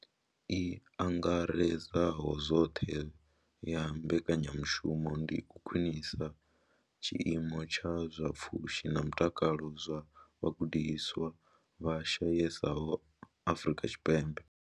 I angaredzaho zwoṱhe ya mbekanyamushumo ndi u khwinisa tshiimo tsha zwa pfushi na mutakalo zwa vhagudiswa vha shayesaho Afrika Tshipembe.